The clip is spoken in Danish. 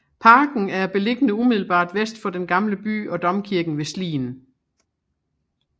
Parken er beliggende umiddelbart vest for den gamle by og domkirken ved Slien